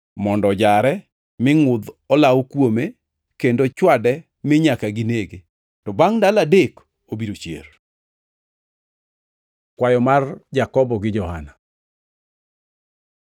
mondo ojare, mi ngʼudh olawo kuome kendo chwade mi nyaka ginege. To bangʼ ndalo adek obiro chier.” Kwayo mar Jakobo gi Johana